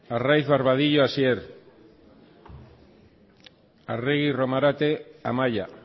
arraiz barbadillo hasier arregi romarate amaia